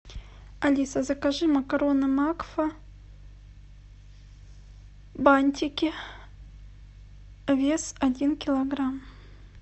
алиса закажи макароны макфа бантики вес один килограмм